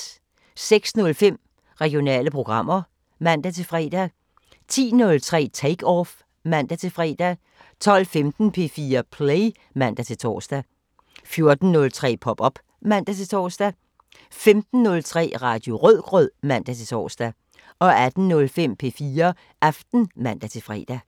06:05: Regionale programmer (man-fre) 10:03: Take Off (man-fre) 12:15: P4 Play (man-tor) 14:03: Pop op (man-tor) 15:03: Radio Rødgrød (man-tor) 18:05: P4 Aften (man-fre)